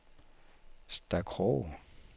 Stakroge